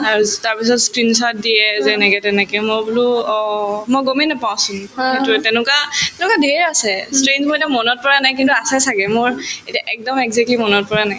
তাৰপিছত screenshot দিয়ে যে এনেকে তেনেকে মই বোলো অ মই গমে নাপাওঁ চোন সেইটোয়ে তেনেকুৱা তেনেকুৱা ধেৰ আছে মোৰ এতিয়া মনত পৰা নাই কিন্তু আছে ছাগে মোৰ এতিয়া একদম exactly মনত পৰা নাই